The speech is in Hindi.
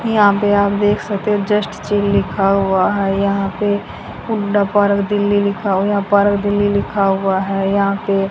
यहाँ पे आप देख सकते हैं जस्ट चिल लिखा हुआ हैं यहाँ पे हुंडा पार्क दिल्ली लिखा हुआ हैं लिखाव यहाँ पार्क दिल्ली लिखा हुवा हैं यहाँ पे --